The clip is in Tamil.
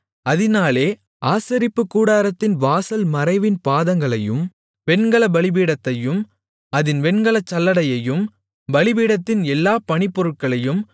அதினாலே ஆசரிப்புக்கூடாரத்தின் வாசல் மறைவின் பாதங்களையும் வெண்கலப் பலிபீடத்தையும் அதின் வெண்கலச் சல்லடையையும் பலிபீடத்தின் எல்லாப் பணிப்பொருட்களையும்